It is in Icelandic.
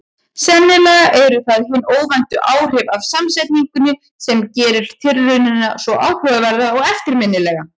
Sennilega eru það hin óvæntu áhrif af samsetningunni sem gerir tilraunina svo áhugaverða og eftirminnilega.